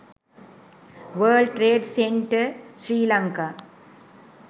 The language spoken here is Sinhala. world trade center sri lanka